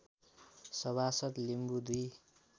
सभासद लिम्बू दुई